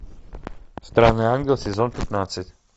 странный ангел сезон пятнадцать